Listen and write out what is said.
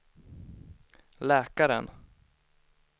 läkaren